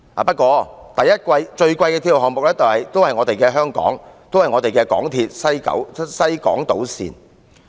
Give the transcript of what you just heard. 不過，最昂貴的鐵路項目仍是香港的港鐵西港島線。